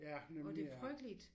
Og det er frygteligt